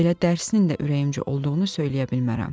Elə dərsinin də ürəyimcə olduğunu söyləyə bilmərəm.